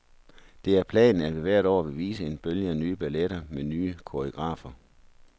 Det er planen, at vi hvert år vil vise en bølge af nye balletter med nye koreografer.